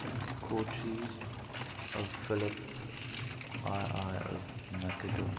courtiers of philip ii of macedon